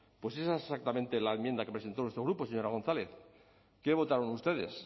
pues esa es exactamente la enmienda que presentó nuestro grupo señora gonzález qué votaron ustedes